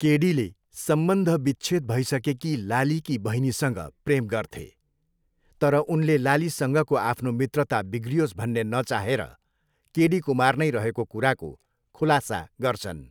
केडीले सम्बन्धविच्छेद भइसकेकी लालीकी बहिनीसँग प्रेम गर्थे, तर उनले लालीसँगको आफ्नो मित्रता बिग्रियोस् भन्ने नचाहेर, केडी कुमार नै रहेको कुराको खुलासा गर्छन्।